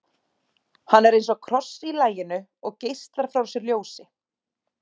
Hann er eins og kross í laginu og geislar frá sér ljósi.